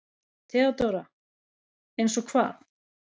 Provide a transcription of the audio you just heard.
THEODÓRA: Eins og hvað?